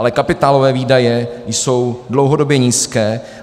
Ale kapitálové výdaje jsou dlouhodobě nízké.